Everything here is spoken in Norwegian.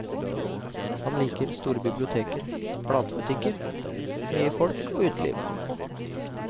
Han liker store biblioteker, platebutikker, mye folk og uteliv.